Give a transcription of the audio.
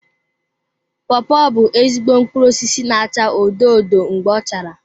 Pawpaw bụ ezigbo mkpụrụ osisi na-acha odo odo mgbe ọ chara.